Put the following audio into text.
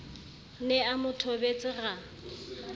ne a mo thobetse ra